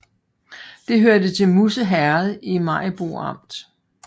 Det hørte til Musse Herred i Maribo Amt